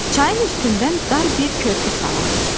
Çayın üstündən dar bir körpü salınmışdı.